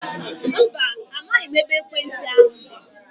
Mba, amaghị m ebe ekwentị ahu dị